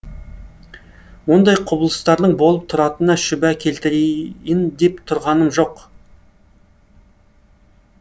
ондай құбылыстардың болып тұратынына шүбә келтірейін деп тұрғаным жоқ